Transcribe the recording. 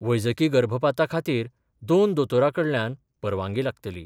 वैजकी गर्भपाता खातीर दोन दोतोरां कडल्यान परवानगी लागतली.